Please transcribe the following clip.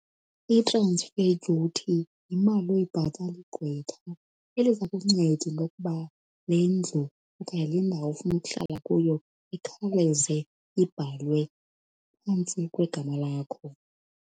I-transfer duty yimali oyibhatala igqwetha eliza kukunceda into yokuba le ndlu okanye le ndawo ufuna ukuhlala kuyo ikhawuleze ibhalwe phantsi kwegama lakho.